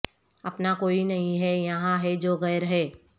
اپنا کوئی نہیں ہے یہاں ہے جو غیر ہے